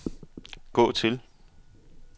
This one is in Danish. gå til